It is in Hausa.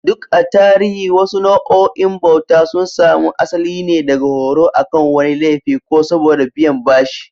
Duk a tarihi, wasu nau'o'in bauta sun samu asali ne daga horo akan wani laifi ko saboda biyan bashi.